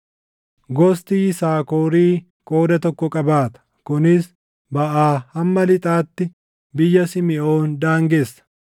Gosti Yisaakorii qooda tokko qabaata; kunis baʼaa hamma lixaatti biyya Simiʼoon daangessa.